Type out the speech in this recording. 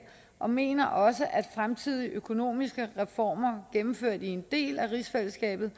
og mener også at fremtidige økonomiske reformer gennemført i en del af rigsfællesskabet